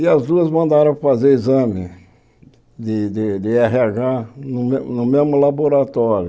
E as duas mandaram fazer exame de de érre agá no me no mesmo laboratório.